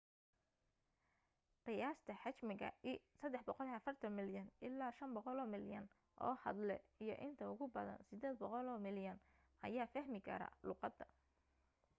qiyaasta xajmiga l 340 milyan ilaa 500 milyan oo hadle iyo inta ugu badan 800 milyan ayaa fahmi kara luuqada